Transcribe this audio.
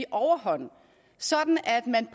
overhånd sådan at man